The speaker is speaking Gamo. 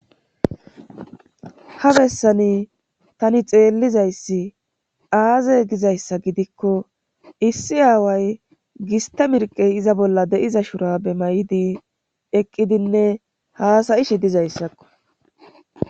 ha bessani tani xeellizayssi aaze gizayssa gidikko issi aaway giste mirqey iza bolla de'iza shura be may7'di eqqidinne haasayishe dizayssakko